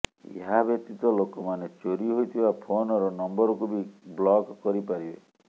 ଏହାବ୍ୟତୀତ ଲୋକମାନେ ଚୋରି ହୋଇଥିବା ଫୋନର ନମ୍ବରକୁ ବି ବ୍ଲକ କରିପାରିବେ